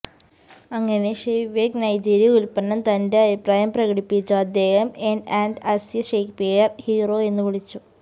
അങ്ങനെ Chernyshevsky Nigeria ഉൽപ്പന്നം തന്റെ അഭിപ്രായം പ്രകടിപ്പിച്ചു അദ്ദേഹം N and Asya Shakespeare hero വിളിച്ചു